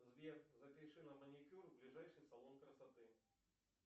сбер запиши на маникюр в ближайший салон красоты